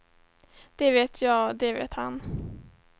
Det vet jag, det vet han.